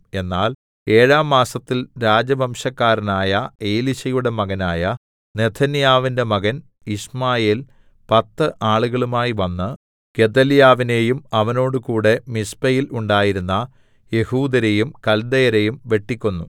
എന്നാൽ ഏഴാം മാസത്തിൽ രാജവംശക്കാരനായ എലീശയുടെ മകനായ നെഥന്യാവിന്റെ മകൻ യിശ്മായേൽ പത്ത് ആളുകളുമായി വന്ന് ഗെദല്യാവിനെയും അവനോടുകൂടെ മിസ്പെയിൽ ഉണ്ടായിരുന്ന യെഹൂദ്യരെയും കൽദയരെയും വെട്ടിക്കൊന്നു